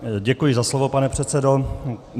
Děkuji za slovo, pane předsedo.